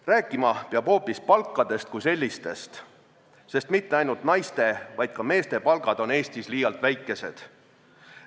Rääkima peab hoopis palkadest kui sellistest, sest mitte ainult naiste, vaid ka meeste palgad on Eestis liialt väikesed.